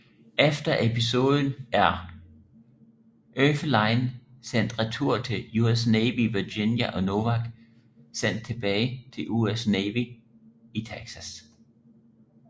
Efter episoden er Oefelein sendt retur til US Navy i Virginia og Nowak sendt tilbage til US Navy i Texas